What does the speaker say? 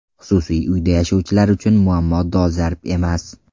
Xususiy uyda yashovchilar uchun muammo dolzarb emas.